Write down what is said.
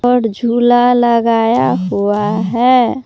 और झूला लगाया हुआ है।